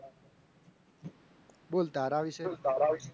બોલ તારા વિશે